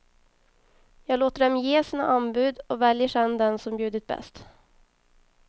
Jag låter dem ge sina anbud och väljer sedan den som bjudit bäst.